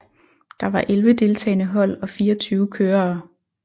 Der var elve deltagende hold og fireogtyve kørere